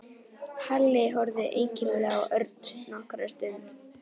Halli horfði einkennilega á Örn nokkra stund.